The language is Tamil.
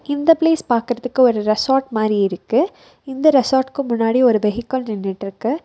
இந்த ப்ளேஸ் பாக்குறதுக்கு ஒரு ரெசார்ட் மாரி இருக்கு இந்த ரெசார்ட்க்கு முன்னாடி ஒரு வெஹிகள் நின்னுட்ருக்கு.